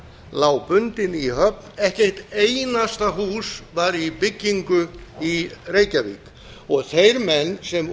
lá bundinn í höfn ekki eitt einasta hús var í byggingu í reykjavík og þeir menn sem